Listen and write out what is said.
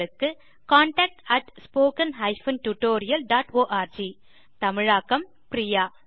contact at spoken hyphen tutorial dot org தமிழாக்கம் பிரியா